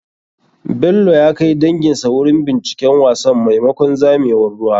Bello ya kai danginsa wurin binciken wasan maimakon zamewar ruwa.